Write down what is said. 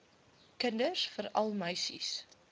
kinders veral meisies